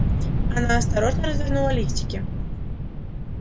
она осторожно развернула листики